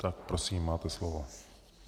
Tak prosím, máte slovo.